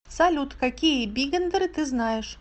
салют какие бигендеры ты знаешь